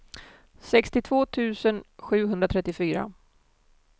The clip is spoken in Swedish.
sextiotvå tusen sjuhundratrettiofyra